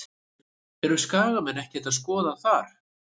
Eru Skagamenn ekkert að skoða þar?